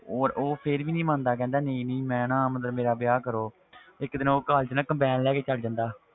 ਔਰ ਉਹ ਫਿਰ ਵੀ ਨੀ ਮੰਨਦਾ ਕਹਿੰਦਾ ਨਹੀਂ ਨਹੀਂ ਮੈਂ ਨਾ ਮਤਲਬ ਮੇਰਾ ਵਿਆਹ ਕਰੋ ਇੱਕ ਦਿਨ ਉਹ college ਨਾ ਕਰਪੈਨ ਲੈ ਕੇ ਚਲਾ ਜਾਂਦਾ